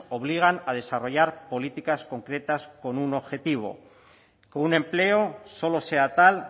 obligan a desarrollar políticas concretas con un objetivo con un empleo solo sea tal